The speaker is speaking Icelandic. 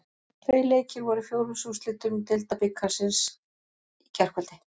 Tveir leikir voru í fjórðungsúrslitum Deildabikarsins í gærkvöld.